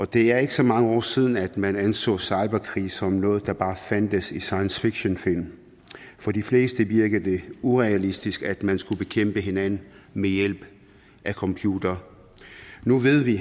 det er ikke så mange år siden at man anså cyberkrig som noget der bare fandtes i science fiction film på de fleste virkede det urealistisk at man skulle bekæmpe hinanden ved hjælp af computere nu ved vi